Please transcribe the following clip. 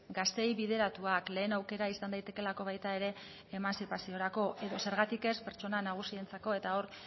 gazteei bideratuak lehen aukera izan daitekeelako baita ere emantzipaziorako edo zergatik ez pertsona nagusientzako eta hor